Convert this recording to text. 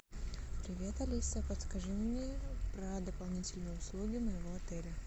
привет алиса подскажи мне про дополнительные услуги моего отеля